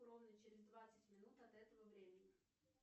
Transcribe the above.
ровно через двадцать минут от этого времени